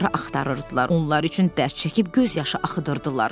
Onları axtarırdılar, onlar üçün dərd çəkib göz yaşı axıdırdılar.